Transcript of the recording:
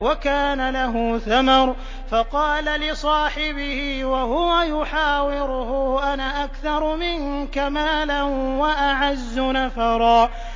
وَكَانَ لَهُ ثَمَرٌ فَقَالَ لِصَاحِبِهِ وَهُوَ يُحَاوِرُهُ أَنَا أَكْثَرُ مِنكَ مَالًا وَأَعَزُّ نَفَرًا